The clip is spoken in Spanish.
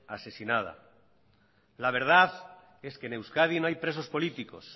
asesinada la verdad es que en euskadi no hay presos políticos